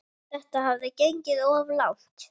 Þetta hafði gengið of langt.